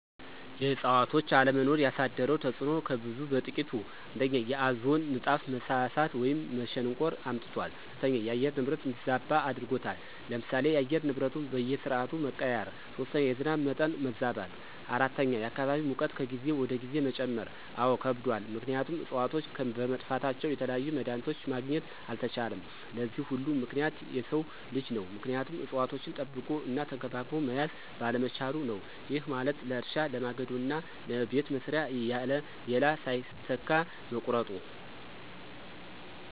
የእዕፅዋቶች አለመኖር ያሳደረው ተፅዕኖ ከብዙ በጥቂቱ፦ ፩) የኦዞን ንጣፍ መሳሳት ወይም መሸንቆር አምጥቷል። ፪) የአየር ንብረት እንዲዛባ አድርጎታል። ለምሳሌ፦ የአየር ንብረቱ በየስዓቱ መቀያየር። ፫) የዝናብ መጠን መዛባት። ፬) የአካባቢ ሙቀት ከጊዜ ወደ ጊዜ መጨመር። አዎ ከብዷል ምክንያቱም እፅዋቶች በመጥፋታቸው የተለያዩ መድሀኒቶችን ማግኘት አልተቻለም። ለዚህ ሁሉ ምክንያት የሰው ልጅ ነው ምክንያቱም እፅዋቶችን ጠብቆ እና ተንከባክቦ መያዝ ባለመቻሉ ነው። ይህ ማለት ለእርሻ፣ ለማገዶ እና ለቤት መስሪያ እያለ ሌላ ሳይተካ መቁረጡ።